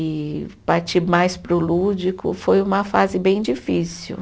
E partir mais para o lúdico, foi uma fase bem difícil.